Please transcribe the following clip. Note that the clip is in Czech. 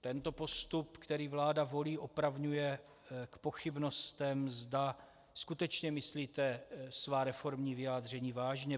Tento postup, který vláda volí, opravňuje k pochybnostem, zda skutečně myslíte svá reformní vyjádření vážně.